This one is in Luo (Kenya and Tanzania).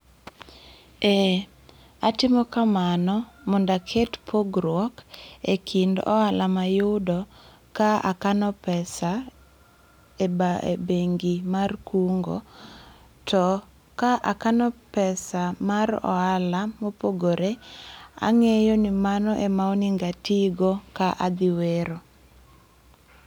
Eh, atimo kamano mondo aket pogruok ekind ohala mayudo ka akano pesa eba e bengi mar kungo. To ka akano pesa mar ohala mopogore ang'eyo ni mano ema onego atigo ka adhi wero.